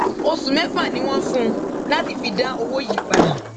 oṣù mẹfà ni wọn fún un láti fi dá owó yìí padà